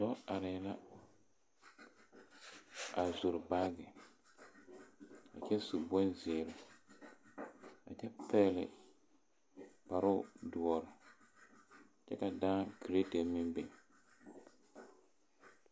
Dɔɔ are la a zore baagi kyɛ su bon ziire. A kyɛ pɛgle kparo duor. Kyɛ ka daa kerɛte meŋ biŋ